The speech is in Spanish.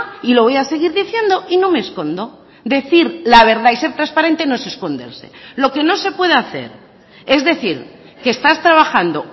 y lo voy a seguir diciendo y no me escondo decir la verdad y ser transparente no es esconderse lo que no se puede hacer es decir que estás trabajando